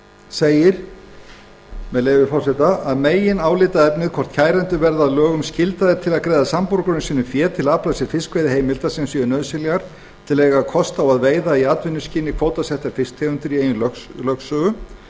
segir að meginálitaefnið sé hvort kærendur verði að lögum skyldaðir til að greiða samborgurum sínum fé til að afla sér fiskveiðiheimilda sem séu nauðsynlegar til að eiga kost á að veiða í atvinnuskyni kvótasettar fisktegundir í eigin